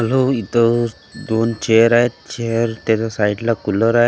आलो इथं दोन चेअर आहेत चेअर त्याच्या साईडला कुलर आहे .